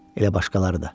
Elə başqaları da.